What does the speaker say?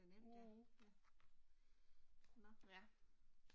Mh. Ja